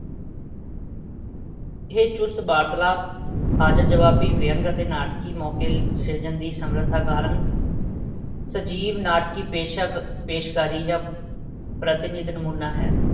ਇਹ ਚੁਸਤ ਵਾਰਤਾਲਾਪ, ਹਾਜ਼ਰ-ਜਵਾਬੀ, ਵਿਅੰਗ ਅਤੇ ਨਾਟਕੀ ਮੌਕੇ ਸਿਰਜਣ ਦੀ ਸਮਰੱਥਾ ਕਾਰਨ ਸਜੀਵ ਨਾਟਕੀ ਪੇਸ਼ਕ ਪੇਸ਼ਕਾਰੀ ਦਾ ਪ੍ਰਤਿਨਿਧ ਨਮੂਨਾ ਹਨ।